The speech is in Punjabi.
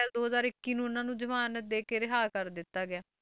ਅਪ੍ਰੈਲ ਦੋ ਹਜ਼ਾਰ ਇੱਕੀ ਨੂੰ ਇਹਨਾਂ ਨੂੰ ਜ਼ਮਾਨਤ ਦੇ ਕੇ ਰਿਹਾ ਕਰ ਦਿੱਤਾ ਗਿਆ,